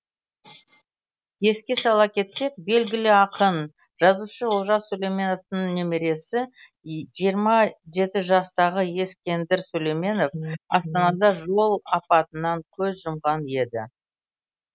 еске сала кетсек белгілі ақын жазушы олжас сүлейменовтің немересі жиырма жеті жастағы ескендір сүлейменов астанада жол апатынан көз жұмған еді